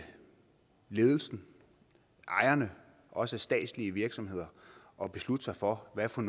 ledelsen og ejerne også i statslige virksomheder at beslutte sig for hvad for